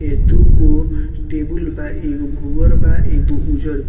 ये दूगो टेबल बा | एगो भुवर बा एगो उजर बा।